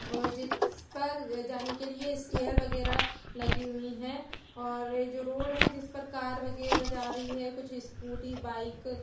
और जिस पर जाने के लिए स्टेयर वगैरा लगी हुई हैं और ये जो रोड है जिस पर कार वगैरा जा रही है कुछ स्कूटी बाइक --